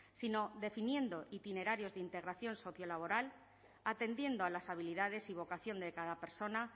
sino definiendo itinerarios de integración sociolaboral atendiendo a las habilidades y vocación de cada persona